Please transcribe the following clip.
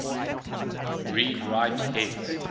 read write heads